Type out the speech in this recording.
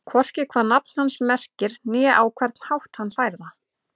Hvorki hvað nafn hans merkir né á hvern hátt hann fær það.